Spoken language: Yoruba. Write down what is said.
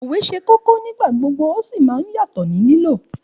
Òwe ṣe kókó nígbà gbogbo, o sì ma n yàtò ni lílò.